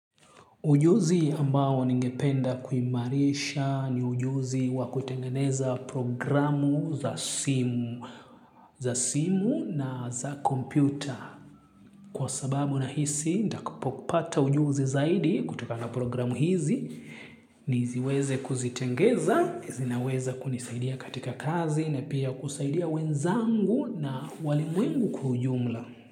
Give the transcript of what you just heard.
Ujuzi ambao ninge penda kuimarisha ni ujuzi wakutengeneza programu za simu na za kompyuta. Kwa sababu nahisi, ndakupo kupata ujuzi zaidi kutokana programu hizi, niziweze kuzitengeza, zinaweza kunisaidia katika kazi, na pia kusaidia wenzangu na walimwengu kwa ujumla.